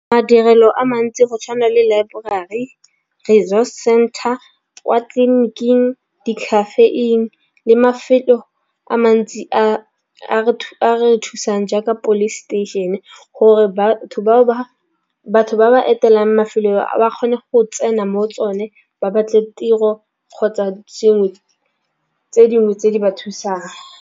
Madirelo a mantsi go tšhwana le laeborari center kwa tleliniking di-cafe-ing le mafelo a mantsi a re thusang jaaka police station gore batho bao ba batho ba etela mafelo a ba kgone go tsena mo tsone. Ba batle tiro kgotsa dingwe tse dingwe tse di ba thusang.